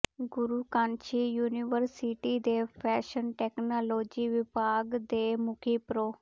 ਗੁਰੂ Kashi university ਦੇ fashion technology ਵਿਭਾਗ ਦੇ ਮੁਖੀ ਪ੍ਰੋ